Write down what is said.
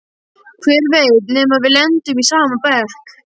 Hver veit nema við lendum í sama bekk!